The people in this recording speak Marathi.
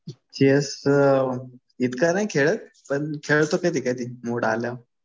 चेस इतका नाही खेळत. पण खेळतो कधी कधी मुड आल्यावर.